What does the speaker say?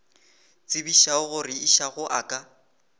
tsebišago gore išago a ka